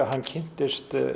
hann kynntist